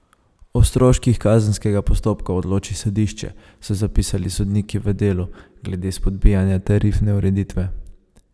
O stroških kazenskega postopka odloči sodišče, so zapisali sodniki v delu glede spodbijanja tarifne ureditve.